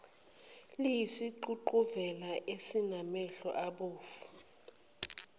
eliyisiququvela esinamehlo abomvu